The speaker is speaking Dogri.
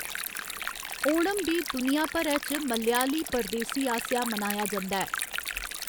ओणम बी दुनिया भरै च मलयाली परदेसी आसेआ मनाया जंदा ऐ।